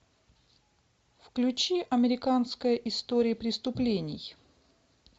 включи американская история преступлений